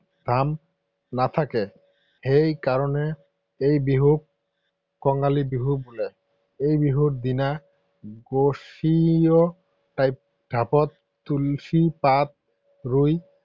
ধাম নাথাকে। সেই কাৰণে এই বিহুক কঙালী বিহু বোলে। এই বিহুত ঢাপত তুলসী পাত ৰুই